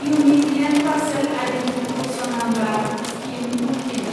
unique land parcel identification number scheme ULPIN